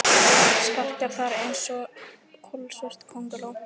Sparkar þar einsog kolsvört könguló.